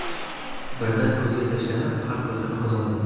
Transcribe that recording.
Birdan ko‘zga tashlanib, xalq mehrini qozondi.